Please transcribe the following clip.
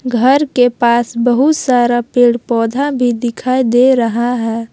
घर के पास बहुत सारा पेड़ पौधा भी दिखाई दे रहा है ।